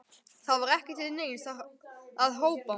Það var ekki til neins að hrópa.